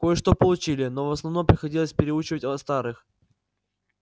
кое-что получили но в основном приходилось переучивать старых